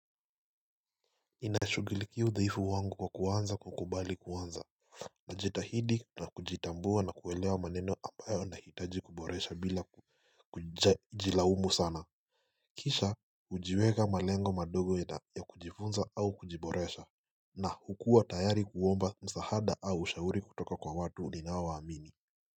Ninashughuikia udhaifu wangu kwa kuanza kukubali kuanza na kujitahidi na kujitambua na kuelewa maneno ambayo nahitaji kuboresha bila kujilaumu sana Kisha hujiweka malengo madogo ya kujifunza au kujiboresha na kukua tayari kuomba msaada au ushauri kutoka kwa watu ninao waamini.